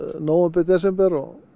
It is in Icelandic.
nóvember desember